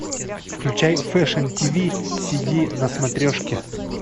включай фэшн тиви сиди на смотрешке